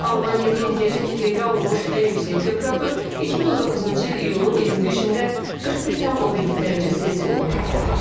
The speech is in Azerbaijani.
Almaniyada indiyədək qeydə alınmış ən yüksək temperatur 2019-cu il iyulun 25-də 41,2 dərəcə Selsi olub.